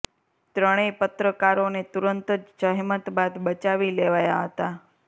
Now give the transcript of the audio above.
ત્રણેય પત્રકારોને તુરંત જ જહેમત બાદ બચાવી લેવાયા હતા